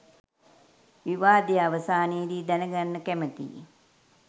විවාදය අවසානයේදී දැනගන්න කැමතියි.